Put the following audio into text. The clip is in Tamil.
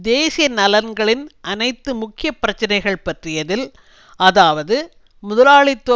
தேசிய நலன்களின் அனைத்து முக்கிய பிரச்சினைகள் பற்றியதில் அதாவது முதலாளித்துவ